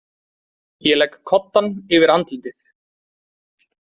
Ég legg koddann yfir andlitið.